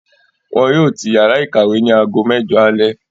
Wọn yóò tì yàrá ìkàwé ní aago mẹjọ alẹ́